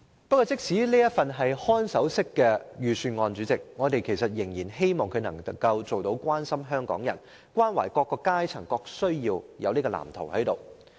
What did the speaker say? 即使這是一份看守式預算案，我們仍然希望預算案能提出關懷港人及滿足各階層需要的藍圖。